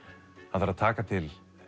hann þarf að taka til